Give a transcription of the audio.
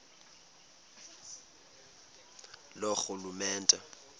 loorhulumente